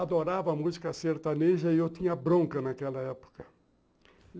Adorava música sertaneja e eu tinha bronca naquela época.